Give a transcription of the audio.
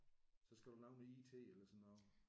Så skal du lave noget IT eller sådan noget